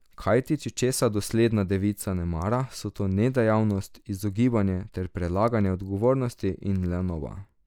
Kajti če česa dosledna devica ne mara, so to nedejavnost, izogibanje ter prelaganje odgovornosti in lenoba.